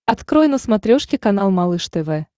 открой на смотрешке канал малыш тв